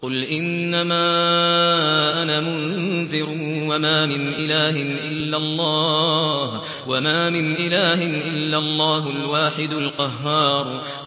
قُلْ إِنَّمَا أَنَا مُنذِرٌ ۖ وَمَا مِنْ إِلَٰهٍ إِلَّا اللَّهُ الْوَاحِدُ الْقَهَّارُ